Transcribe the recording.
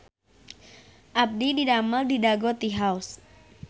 Abdi didamel di Dago Tea House